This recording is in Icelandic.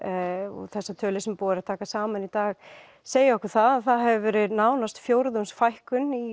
og þessar tölur sem búið er að taka saman segja okkur það að það hefur verið nánast fjórðungsfækkun í